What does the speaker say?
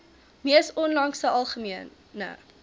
mees onlangse algemene